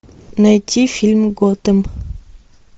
найти фильм готэм